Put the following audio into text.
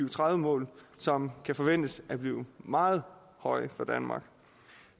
og tredive mål som kan forventes at blive meget høje for danmark